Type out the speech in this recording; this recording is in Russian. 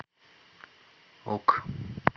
ок